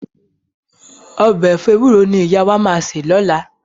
Ọbẹ̀ ẹ̀fọ́ ewúro ni ìyá wa máa sè lọ́la